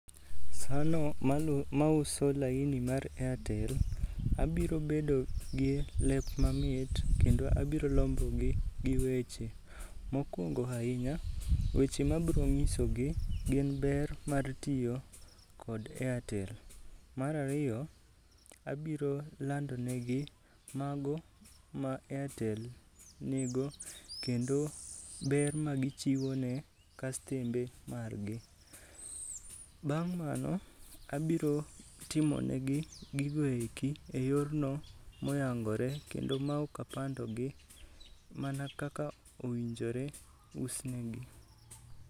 Sano mauso laini mar Airtel, abiro bedo gi lep mamit kendo abiro lombogi gi weche. Mokwongo ahinya, weche mabro ng'isogi gin ber mar tiyo kod Airtel. Mar ariyo, abiro landonegi mago ma Airtel nigo kendo ber ma gichiwo ne kastember margi. Bang' mano, abiro timonegi gigoeki e yorno moyangore kendo ma ok apandogi mana kaka ownjore us negi.